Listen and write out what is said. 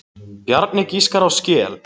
Bjarni giskar á skel.